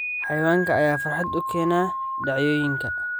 Xayawaanka ayaa farxad u keena dhacdooyinka.